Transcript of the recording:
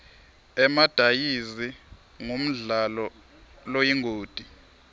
emadayizi ngumdlalo loyingoti